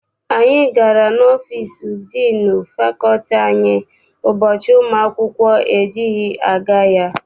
Anyị gara n'ọfịịsi diinu fakọlti anyị ụbọchị ụmụ akwụkwọ ejighị aga ya.